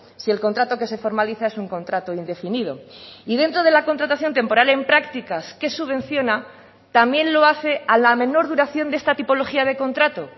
si el contrato que se formaliza es un contrato indefinido y dentro de la contratación temporal en prácticas que subvenciona también lo hace a la menor duración de esta tipología de contrato